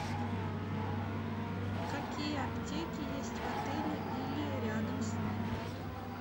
какие аптеки есть в отеле или рядом с ним